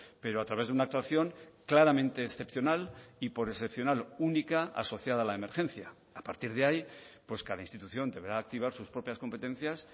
pero a través de una actuación claramente excepcional y por excepcional única asociada a la emergencia a partir de ahí pues cada institución deberá activar sus propias competencias